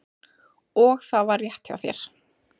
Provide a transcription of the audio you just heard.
Og það var rétt hjá þér.